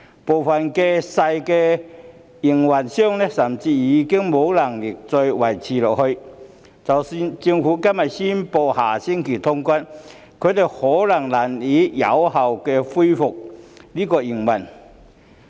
部分小營辦商甚至已無力再維持下去，即使政府今天宣布下星期通關，他們或許也難以有效恢復營運。